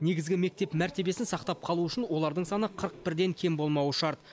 негізгі мектеп мәртебесін сақтап қалу үшін олардың саны қырық бірден кем болмауы шарт